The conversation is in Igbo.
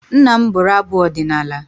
Nna m bụrụ abụ ọdịnala.